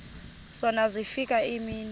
zona zafika iimini